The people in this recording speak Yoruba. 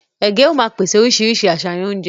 Ègé ó má pèsè oríṣiríṣi àṣàyàn oúnjẹ